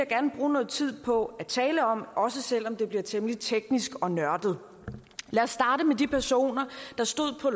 gerne bruge noget tid på at tale om også selv om det bliver temmelig teknisk og nørdet lad os starte med de personer der stod på